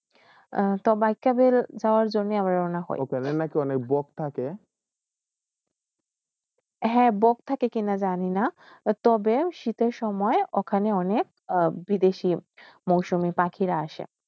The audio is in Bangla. তো বাকয়বীল অন হ হয়ে বক থাকে কি জানি না তবে শীতের সময় ওখানে অনেক বিদেশী মৌসুমী পাখিরা আসে